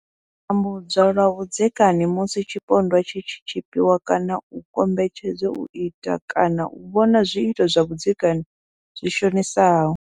U tambudzwa lwa vhudzekani musi tshipondwa tshi tshi tshipiwa kana u kombetshedzwa u ita kana u vhona zwiito zwa vhudzekani zwi shonisaho.